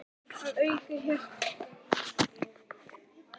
Að auki hélt hann úti eigin sjón